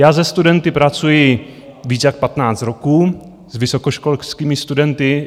Já se studenty pracuji více jak 15 roků, s vysokoškolskými studenty.